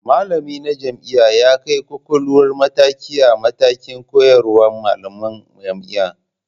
Malamina na jami'a ya kai ƙoƙoluwar mataki a matakan koyarwar malaman jami'a.